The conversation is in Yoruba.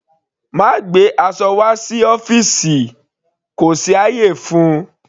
Má gbé aṣọ wá sí ọ́fìsì kò sí ayé fún-un.